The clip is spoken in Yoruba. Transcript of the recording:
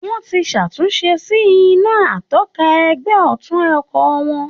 Wọ́n ti ṣàtúnṣe sí iná atọ́ka ẹ̀gbẹ́ ọ̀tún ọkọ̀ wọn